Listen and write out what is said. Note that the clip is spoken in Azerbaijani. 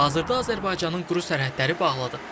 Hazırda Azərbaycanın quru sərhədləri bağlıdır.